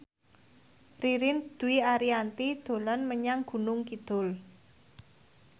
Ririn Dwi Ariyanti dolan menyang Gunung Kidul